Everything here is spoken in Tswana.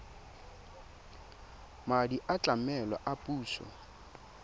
madi a tlamelo a puso